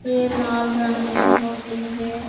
ये लाल रंग में होती है।